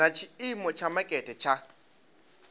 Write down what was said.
na tshiimo tsha makete tsha